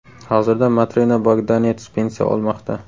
Hozirda Matrena Bogdanets pensiya olmoqda.